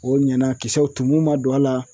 O ɲɛna kisɛw tumu ma don a la